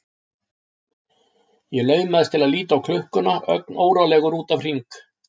Ég laumast til að líta á klukkuna ögn órólegur út af Hring.